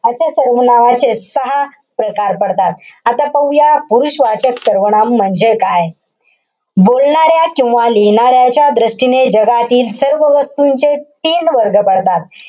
अशा सर्वनामाचेच सहा प्रकार पडतात. आता पाहूया पुरुषवाचक सर्वनाम म्हणजे काय. बोलणाऱ्या किंवा लिहिणाऱ्याच्या दृष्टीने जगातील सर्व वस्तूंचे तीन वर्ग पडतात.